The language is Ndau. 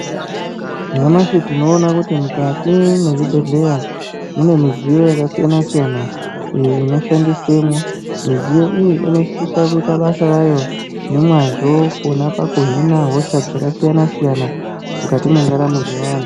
Nyamashi tinoona kuti mukati mwezvibhedhleya mune midziyo yakasiyana-siyana iyo inoshandiswemwo. Midziyo iyi inosisa kuita basa ravo nemwazvo pona pakuhina hosha dzakasiyana-siyana mukati mwendaramo dzevantu.